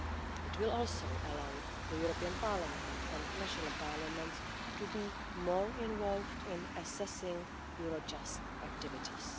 It will also allow the European Parliament and national parliaments to be more involved in assessing Eurojust activities.